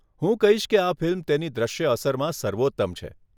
હું કહીશ કે આ ફિલ્મ તેની દૃશ્ય અસરમાં સર્વોત્તમ છે.